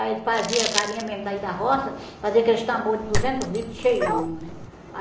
Aí fazia farinha mesmo daí da roça, fazia aqueles tambor de duzentos litros cheião, né?